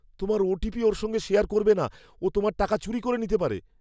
তোমার ওটিপি ওর সঙ্গে শেয়ার করবে না। ও তোমার টাকা চুরি করে নিতে পারে।